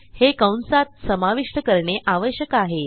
हे कंसात समाविष्ट करणे आवश्यक आहे